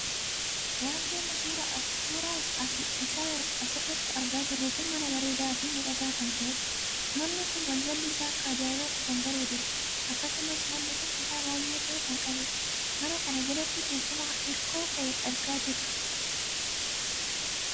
Wanti amma suuraa isaa as irratti argaa jirru kun mana bareedaa fi miidhagaa kan taheedha. manni kun balballi isaa akka ajaa'ibaatti kan bareeduudha. akkasumas manni kun kutaa baay'ee tahee kan qabudha. mana kana jalatti teessuma hirkoo tahe argaa jirra.